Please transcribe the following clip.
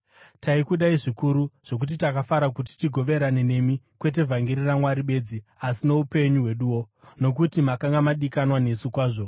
Taikudai zvikuru zvokuti takafara kuti tigoverane nemi, kwete vhangeri raMwari bedzi, asi noupenyu hweduwo, nokuti makanga madikanwa nesu kwazvo.